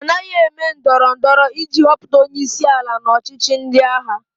A naghị eme ndọrọ ndọrọ iji họpụta onye isi ala n'ọchịchị ndị agha.